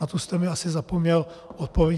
Na tu jste mi asi zapomněl odpovědět.